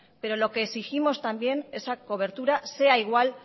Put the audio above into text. pero lo que exigimos también esa cobertura sea igual